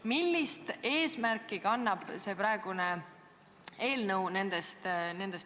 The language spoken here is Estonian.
Millist eesmärki kannab see praegune eelnõu?